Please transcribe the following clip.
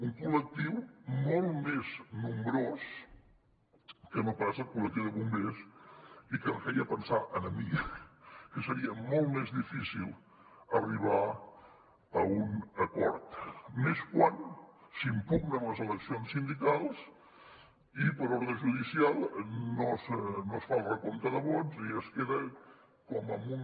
un col·lectiu molt més nombrós que no pas el col·lectiu de bombers i que em feia pensar a mi que seria molt més difícil arribar a un acord i més quan s’impugnen les eleccions sindicals i per ordre judicial no es fa el recompte de vots i es queda com en un